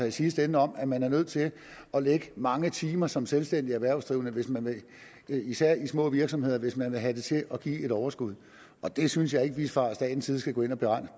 i sidste ende om at man er nødt til at lægge mange timer som selvstændigt erhvervsdrivende især i de små virksomheder hvis man vil have det til at give et overskud og det synes jeg ikke at vi fra statens side skal gå ind at